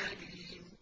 أَلِيمٌ